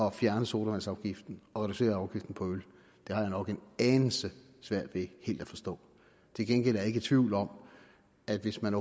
at fjerne sodavandsafgiften og reducere afgiften på øl har jeg nok en anelse svært ved helt at forstå til gengæld er jeg ikke i tvivl om at hvis man